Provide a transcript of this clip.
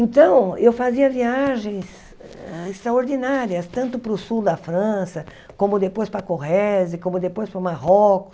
Então, eu fazia viagens hã extraordinárias, tanto para o sul da França, como depois para Corrèze, como depois para o Marrocos.